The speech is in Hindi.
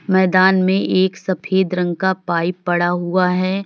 मैदान में एक सफेद रंग का पाइप पड़ा हुआ है।